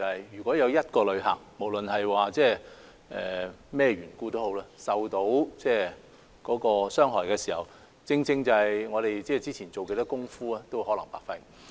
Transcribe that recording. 如果有一位旅客，無論因為甚麼緣故而受到傷害，我們之前做了多少工夫亦可能會白費。